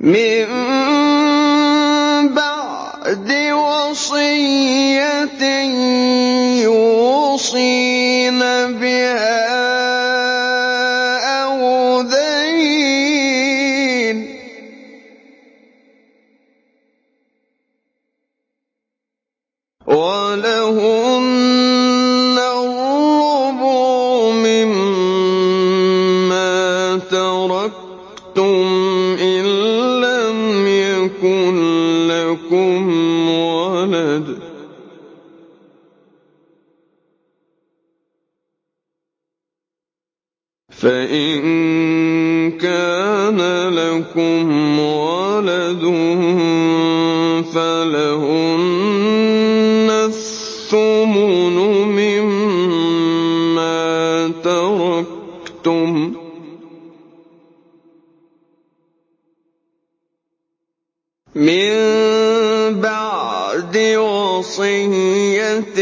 مِن بَعْدِ وَصِيَّةٍ يُوصِينَ بِهَا أَوْ دَيْنٍ ۚ وَلَهُنَّ الرُّبُعُ مِمَّا تَرَكْتُمْ إِن لَّمْ يَكُن لَّكُمْ وَلَدٌ ۚ فَإِن كَانَ لَكُمْ وَلَدٌ فَلَهُنَّ الثُّمُنُ مِمَّا تَرَكْتُم ۚ مِّن بَعْدِ وَصِيَّةٍ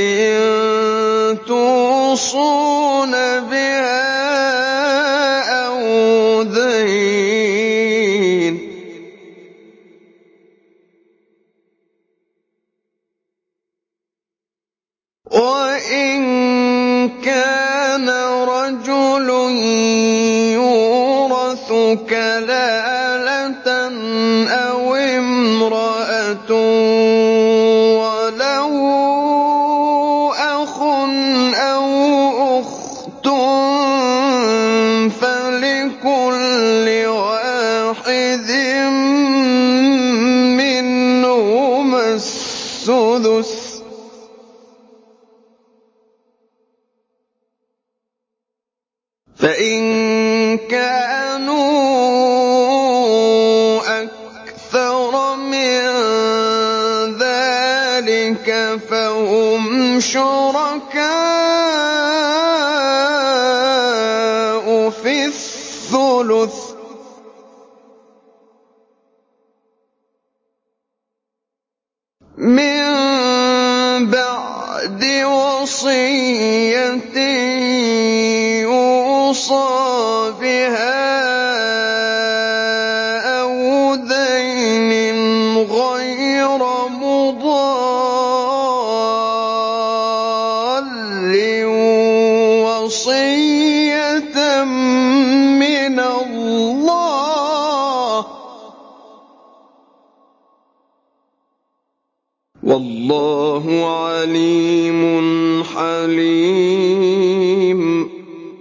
تُوصُونَ بِهَا أَوْ دَيْنٍ ۗ وَإِن كَانَ رَجُلٌ يُورَثُ كَلَالَةً أَوِ امْرَأَةٌ وَلَهُ أَخٌ أَوْ أُخْتٌ فَلِكُلِّ وَاحِدٍ مِّنْهُمَا السُّدُسُ ۚ فَإِن كَانُوا أَكْثَرَ مِن ذَٰلِكَ فَهُمْ شُرَكَاءُ فِي الثُّلُثِ ۚ مِن بَعْدِ وَصِيَّةٍ يُوصَىٰ بِهَا أَوْ دَيْنٍ غَيْرَ مُضَارٍّ ۚ وَصِيَّةً مِّنَ اللَّهِ ۗ وَاللَّهُ عَلِيمٌ حَلِيمٌ